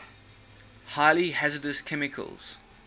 highly hazardous chemicals